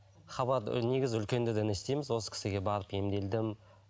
хабарды негізі үлкендерден естейміз осы кісіге барып емделдім